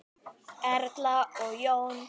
Erla og Jón.